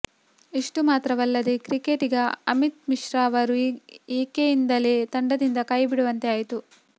ಇಷ್ಟು ಮಾತ್ರವಲ್ಲದೆ ಕ್ರಿಕೆಟಿಗ ಅಮಿತ್ ಮಿಶ್ರಾ ಅವರು ಈಕೆಯಿಂದಲೇ ತಂಡದಿಂದ ಕೈ ಬಿಡುವಂತೆ ಆಯಿತು